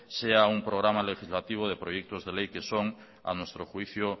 sea un programa legislativo de proyecto de ley que son a nuestro juicio